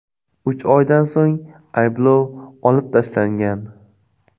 Uch oydan so‘ng ayblov olib tashlangan.